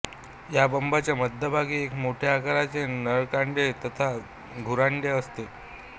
या बंबाच्या मध्यभागी एक मोठ्या आकाराचे नळकांडे तथा धुरांडे असते